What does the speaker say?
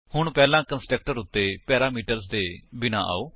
ਹੁਣ ਪਹਿਲਾਂ ਕੰਸਟਰਕਟਰ ਉੱਤੇ ਪੈਰਾਮੀਟਰਸ ਦੇ ਬਿਨਾਂ ਆਓ